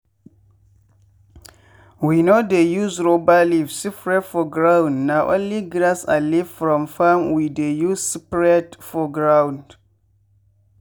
we no dey use rubber leaf spread for ground na only grass and leaf from farm we dey use spread for ground.